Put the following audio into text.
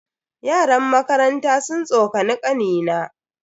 Yaran makaranta sun tsokani kanina.